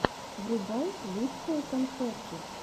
врубай лучшие концерты